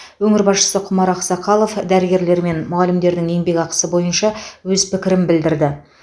өңір басшысы құмар ақсақалов дәрігерлер мен мұғалімдердің еңбекақысы бойынша өз пікірін білдірді